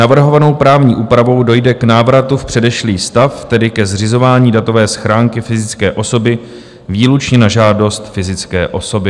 Navrhovanou právní úpravou dojde k návratu v předešlý stav, tedy ke zřizování datové schránky fyzické osoby výlučně na žádost fyzické osoby.